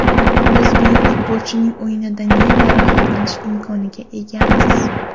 Biz buyuk futbolchining o‘yinidan yana rohatlanish imkoniga egamiz.